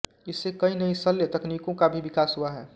इससे कई नयी शल्य तकनीकों का भी विकास हुआ है